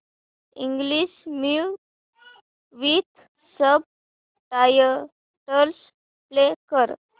English movie with subtitles play कर